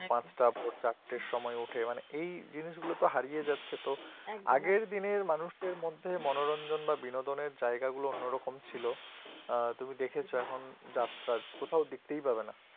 পাচটা বা চারটের সময় উঠে মানে এই জিনিস গুলোতো হারিয়ে যাচ্ছে তো আগের দিনের মানুষের মধ্যে মনোরঞ্জন বা বিনোদনের জায়গাগুলি অন্যরকম ছিল উম তুমি দেখেছ এখন যাত্রা কোথাও দেখতেই পাবে না